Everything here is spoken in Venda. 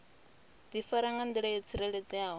difara nga ndila yo tsireledzeaho